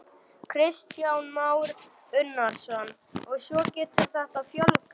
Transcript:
Kristján Már Unnarsson: Og svo getur þetta fjölgað?